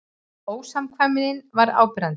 Ósamkvæmnin var áberandi.